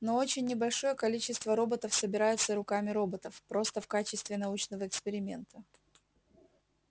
но очень небольшое количество роботов собирается руками роботов просто в качестве научного эксперимента